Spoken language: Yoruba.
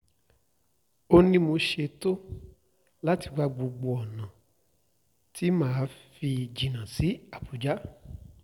ó ní mo ṣètò láti wá gbogbo ọ̀nà tí mà á fi jìnnà sílùú àbújá